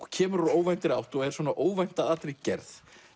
kemur úr óvæntri átt og er svona óvænt að allri gerð